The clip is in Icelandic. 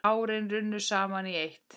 Árin runnu saman í eitt.